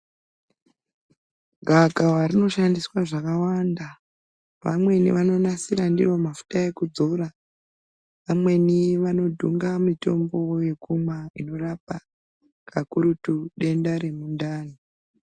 Gavakava rinoshandiswe zvakawanda vamweni vanonasiya ndiro mafuta ekudzora. Vamweni vanodhunga mitombo yekumwa ikurapa kakurutu denda remundani.